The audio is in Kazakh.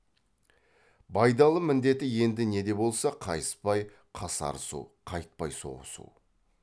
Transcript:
байдалы міндеті енді не де болса қайыспай қасарысу қайтпай соғысу